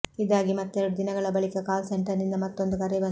ಇದಾಗಿ ಮತ್ತೆರಡು ದಿನಗಳ ಬಳಿಕ ಕಾಲ್ ಸೆಂಟರ್ನಿಂದ ಮತ್ತೊಂದು ಕರೆ ಬಂತು